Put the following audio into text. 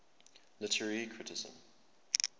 literary criticism